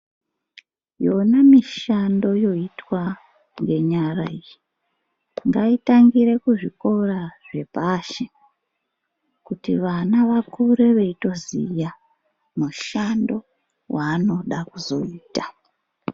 Yona mishando yoitwa ngenyara iyi ngaitangire kuzvikora zvepashi kuti vana vakure veitoziva mushando wanoda kuzoita.